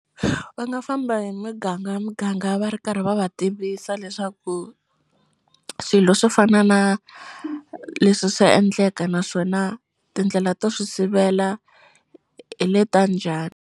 Va nga famba hi miganga hi miganga va ri karhi va va tivisa leswaku swilo swo fana na leswi swa endleka naswona tindlela to swi sivela hi le ta njhani.